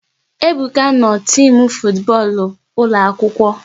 Ebuka no n'timu futu bọọlụ ụlọ akwụkwọ